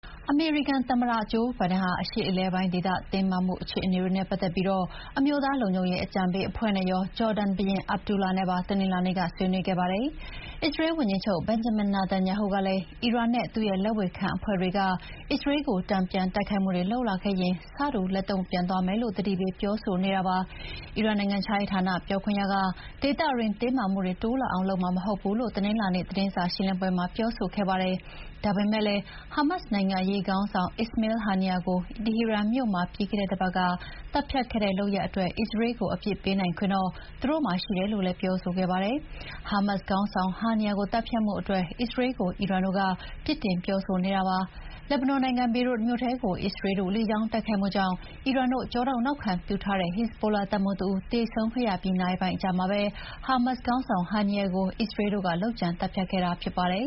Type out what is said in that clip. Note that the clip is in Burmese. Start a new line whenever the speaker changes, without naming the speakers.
အမေရိကန် သမ္မတဂျိုးဘိုင်ဒန်ဟာ အရှေ့အလယ်ပိုင်းဒေသ တင်းမာမှုတွေနဲ့ပတ်သက်ပြီး အမျိုးသား လုံခြုံရေးအကြံပေးအဖွဲ့နဲ့ရော ဂျော်ဒန်ဘုရင် Abdullah နဲ့ပါ တနင်္လာနေ့က ဆွေးနွေးခဲ့ပါတယ်။ အစ္စရေးဝန်ကြီးချုပ် Benjamin Netanyahu ကလည်း အီရန်နဲ့ သူ့ရဲ့လက်ဝေခံအဖွဲ့တွေကအစ္စရေးကို တန်ပြန်တိုက်ခိုက်လာခဲ့ရင် ဆတူလက်တုံ့ပြန်သွားမယ်လို့ သတိပေးပြောဆိုနေတာပါ။ အီရန်နိုင်ငံခြားရေးဌာန ပြောခွင့်ရက ဒေသတွင်းတင်းမာမှုတွေတိုးလာအောင် လုပ်မှာမဟုတ်ဘူးလို့ တနင်္လာနေ့သတင်းစာရှင်းလင်းပွဲမှာ ပြောဆိုခဲ့ပါတယ်။ ဒါပေမယ့်လည်း ဟာမတ်စ်နိုင်ငံရေး ခေါင်းဆောင် Ismail Haniyeh ကို တီဟီရန်မြို့မှာ ပြီးခဲ့တဲ့တပတ်က သတ်ဖြတ်ခဲ့တဲ့လုပ်ရပ်အတွက် အစ္စရေးလ်ကို အပြစ်ပေးနိုင်ခွင့်တော့ သူတို့မှာရှိတယ်လို့လည်း ပြောဆိုခဲ့ပါတယ်။ ဟာမတ်စ်ခေါင်းဆောင် Haniyeh ကိုသတ်ဖြတ်မှုအတွက် အစ္စရေးလ်ကို အီရန်တို့က ပြစ်တင် ပြောနေတာဖြစ်ပါတယ်။ လက်ဘနွန်နိုင်ငံ ဘေရွတ်မြို့ထဲကို အစ္စရေးလ်တို့ လေကြောင်း တိုက်ခိုက်မှု ကြောင့် အီရန်တို့ကျောထောက်နောက်ခံပြုထားတဲ့ ဟက်ဇ်ဘိုလာတပ်မှူးတဦးသေဆုံးခဲ့ရပြီး နာရီပိုင်းအကြာမှာပဲ ဟာမတ်စ်ခေါင်းဆောင် Haniyeh ကို အစ္စ
ရေးလ်တို့ လုပ်ကြံသတ်ဖြတ်ခဲ့တာဖြစ်ပါတယ်